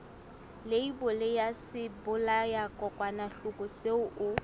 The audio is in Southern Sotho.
leibole ya sebolayakokwanyana seo o